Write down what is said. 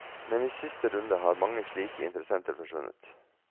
Men i siste runde har mange slike interessenter forsvunnet.